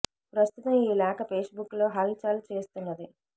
ప్రస్తుతం ఈ లేఖ పేస్ బుక్ లో హల్ చల్ చేస్తున్నది